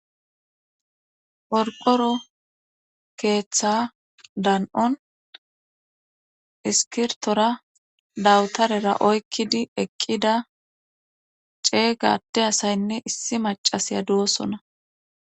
Qorqoro keeththa dan7on iskirtora dawutarera oykkidi eqqida ceeygade asaynne issi macasiya duwosona